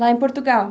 Lá em Portugal?